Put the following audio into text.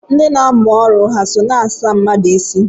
Ndị na-amụ ọrụ ha so na-asa mmadụ isi?